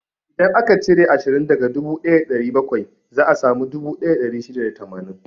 Idan aka cire ashirin daga dubu ɗaya da ɗari bakwai, za a samu dubu ɗaya da ɗari shida da tamanin.